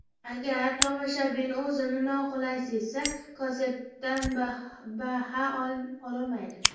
Agar tomoshabin o‘zini noqulay sezsa, konsertdan baha ololmaydi.